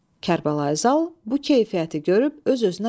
Kərbəlayı Zal bu keyfiyyəti görüb öz-özünə dedi: